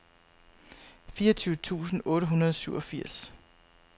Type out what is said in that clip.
fireogtyve tusind otte hundrede og syvogfirs